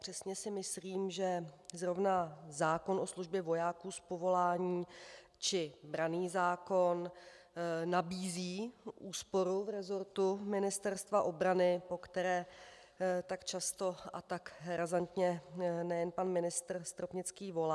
Přesně si myslím, že zrovna zákon o službě vojáků z povolání či branný zákon nabízí úsporu v resortu Ministerstva obrany, po které tak často a tak razantně nejen pan ministr Stropnický volá.